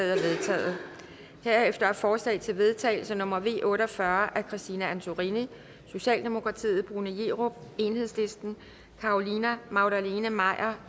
er vedtaget herefter er forslag til vedtagelse nummer v otte og fyrre af christine antorini bruno jerup carolina magdalene maier